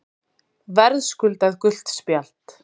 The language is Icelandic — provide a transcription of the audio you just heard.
Verðskuldað gult spjald.